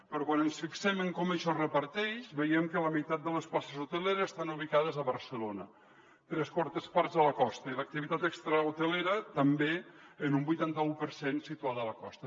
però quan ens fixem en com això es reparteix veiem que la meitat de les places hoteleres estan ubicades a barcelona tres quartes parts a la costa i l’activitat extrahotelera també en un vuitanta u per cent situada a la costa